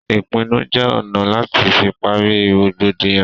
Ìpinnu jẹ ọ̀nà láti fi pari rògbòdìyàn